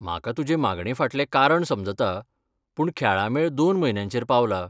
म्हाका तुजे मागणेफाटलें कारण समजता, पूण खेळां मेळ दोन म्हयन्यांचेर पावला.